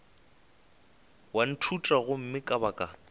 wa ntšhutha gomme ka baka